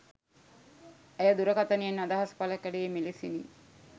ඇය දුරකථනයෙන් අදහස් පළ කළේ මෙලෙසිනි